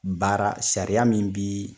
Baara sariya min bi